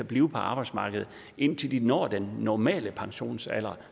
blive på arbejdsmarkedet indtil de når den normale pensionsalder